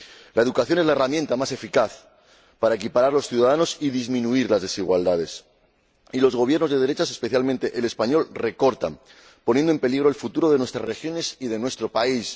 La educación es la herramienta más eficaz para equiparar a los ciudadanos y disminuir las desigualdades, y los gobiernos de derechas —especialmente el español— recortan, poniendo en peligro el futuro de nuestras regiones y de nuestro país.